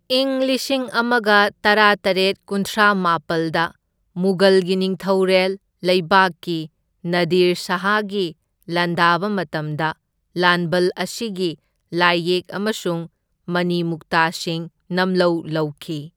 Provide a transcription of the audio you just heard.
ꯏꯪ ꯂꯤꯁꯤꯡ ꯑꯃꯒ ꯇꯔꯥꯇꯔꯦꯠ ꯀꯨꯟꯊ꯭ꯔꯥ ꯃꯥꯄꯜꯗ ꯃꯨꯘꯜꯒꯤ ꯅꯤꯡꯊꯧꯔꯦꯜ ꯂꯩꯕꯥꯛꯀꯤ ꯅꯥꯗꯤꯔ ꯁꯥꯍꯒꯤ ꯂꯥꯟꯗꯥꯕ ꯃꯇꯝꯗ ꯂꯥꯟꯕꯜ ꯑꯁꯤꯒꯤ ꯂꯥꯏꯌꯦꯛ ꯑꯃꯁꯨꯡ ꯃꯅꯤꯃꯨꯛꯇꯥꯁꯤꯡ ꯅꯝꯂꯧ ꯂꯧꯈꯤ꯫